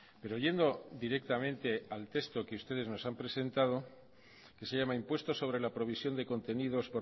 pero yendo directamente al texto que ustedes nos han presentado que se llama impuesto sobre la provisión de contenidos